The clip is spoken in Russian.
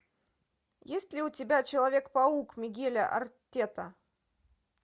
есть ли у тебя человек паук мигеля артета